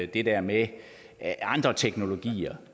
det der med andre teknologier